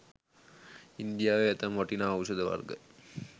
ඉන්දියාවේ ඇතැම් වටිනා ඖෂධ වර්ග